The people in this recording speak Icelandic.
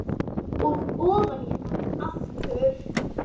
Og ofan í hana aftur.